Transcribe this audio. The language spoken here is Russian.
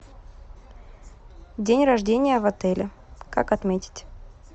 день рождения в отеле как отметить